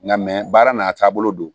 Nka baara n'a taabolo don